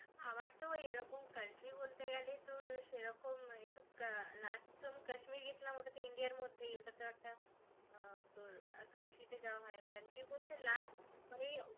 আমার তো এরকম country বলতে গেলে তোর সেরকম এইসব আহ last যখন কাশ্মীরি গেছিলাম ওটা তো ইন্ডিয়ার মধ্যেই. ওটা তো একটা আহ তোর country তে যাওয়া হয়না. country বলতে এই last